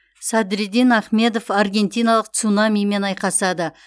садриддин ахмедов аргентиналық цунамимен айқасады